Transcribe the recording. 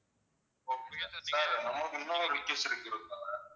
sir நமக்கு இம்னொரு request இருக்கு அதை தவிர